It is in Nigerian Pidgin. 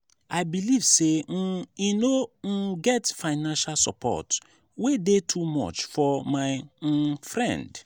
i believe sey um e no um get financial support wey dey too much for my um friend.